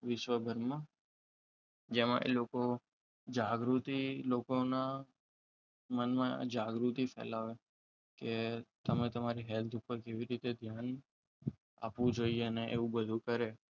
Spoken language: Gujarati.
વિશ્વભરમાં જેમાં લોકો જાગૃતિ લોકોના મનમાં જાગૃતિ ફેલાવે કે તમે તમારી હેલ્થ ઉપર કેવી રીતે ધ્યાન આપવું જોઈએ અને એવું બધું કરે